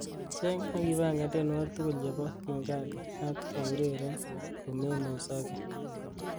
cheng ak ipangan tienywogik tugul chebo king kaka ak eureren komemuzoge